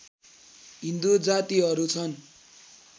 हिन्दू जातिहरू छन्